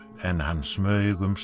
en hann smaug um